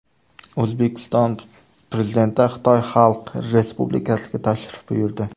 O‘zbekiston Prezidenti Xitoy Xalq Respublikasiga tashrif buyurdi.